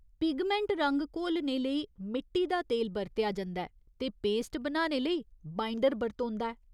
Pigment रंग घोलने लेई मिट्टी दा तेल बरतेआ जंदा ऐ ते पेस्ट बनाने लेई बाइंडर बरतोंदा ऐ।